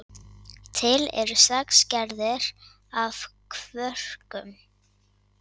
Til eru sex gerðir af kvörkum.